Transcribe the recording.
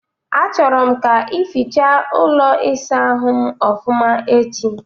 Achọrọ m ka ificha ụlọ ịsa ahụ ofụma echi